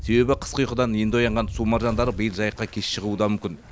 себебі қысқы ұйқыдан енді оянған су маржандары биыл жайыққа кеш шығуы да мүмкін